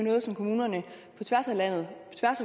noget som kommunerne på tværs af landet